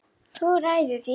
Þú ræður því.